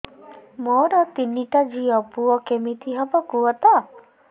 ମୋର ତିନିଟା ଝିଅ ପୁଅ କେମିତି ହବ କୁହତ